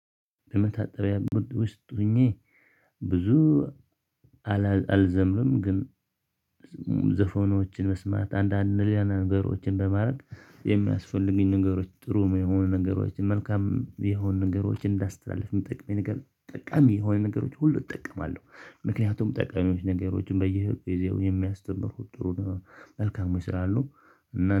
የመታጠቢያ ቤት ውስጥ ሆኜ ብዙ አልዘምርም። ግን መስማት አንዳንድ ሌላ ነገሮችን በማድረግ የሚያስፈልጉኝ ነገሮች ጥሩ የሆኑ ነገሮችን መልካም የሆኑ ነገሮችን እንዳስተላልፍ የምጠቅመኝ ነገር ጠቃሚ የሆኑ ነገሮች ሁሉ እጠቀማለሁ። ምክንያቱም ጠቃሚዎች ነገሮችን በየጊዜ የሚያስተምሩት ጥሩ መልካሞች ስላሉ